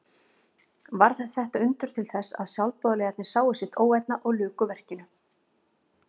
Varð þetta undur til þess að sjálfboðaliðarnir sáu sitt óvænna og luku verkinu.